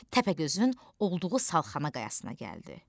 Təpəgözün olduğu salxana qayasına gəldi.